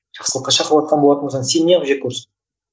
жақсылыққа шақырыватқан болатын болсаң сені неғып жек көрсін